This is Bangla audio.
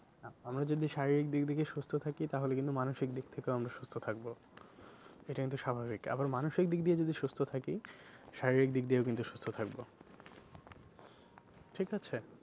আমরা যদি শারীরিক দিক থেকে সুস্থ থাকে তাহলে কিন্তু মানসিক দিক থেকেও আমরা সুস্থ থাকবো এটা কিন্তু স্বাভাবিক আবার মানসিক দিক দিয়ে যদি সুস্থ থাকি শারীরিক দিক দিয়েও কিন্তু সুস্থ থাকবো ঠিক আছে?